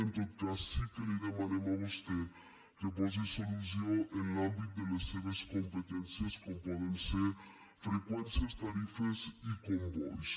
en tot cas sí que li demanen a vostè que hi posi solució en l’àmbit de les seves competències com poden ser freqüències tarifes i combois